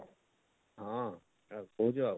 ହଁ କାଣା ଖାଉଚ?